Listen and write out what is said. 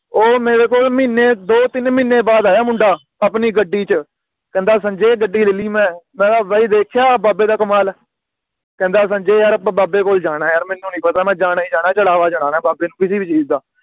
ਉਹ ਮੇਰੇ ਕੋਲ ਮਹੀਨੇ ਦੋ ਤਿੰਨ ਮਹੀਨੇ ਬਾਦ ਆਇਆ ਮੁੰਡਾ ਆਪਣੀ ਗੱਡੀ ਚ ਕਹਿੰਦਾ ਸੰਜੇ ਗੱਡੀ ਲੈ ਲਈ ਮੈਂ ਮੈਂ ਕਿਹਾ ਭਾਈ ਦੇਖਿਆ ਬਾਬੇ ਦਾ ਕਮਾਲ ਕਹਿੰਦਾ ਸੰਜੇ ਯਾਰ ਅੱਪਾ ਬਾਬੇ ਕੋਲ ਜਾਣਾ ਏ ਯਾਰ ਮੈਨੂੰ ਨੀ ਪਤਾ ਮੈਂ ਜਾਣਾ ਹੀ ਜਾਣਾ ਏ ਚੜ੍ਹਾਵਾ ਚੜ੍ਹਨਾ ਏ ਬਾਬੇ ਨੂੰ ਕਿਸੇ ਵੀ ਚੀਜ਼ ਦਾ